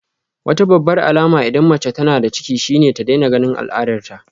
Wata babbar alama idan mace tana da ciki shine ta daina ganin al'adarta